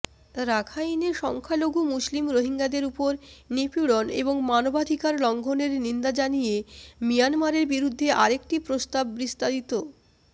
রাখাইনে সংখ্যালঘু মুসলিম রোহিঙ্গাদের ওপর নিপীড়ন ও মানবাধিকার লঙ্ঘনের নিন্দা জানিয়ে মিয়ানমারের বিরুদ্ধে আরেকটি প্রস্তাববিস্তারিত